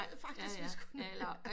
Faktisk vi skulle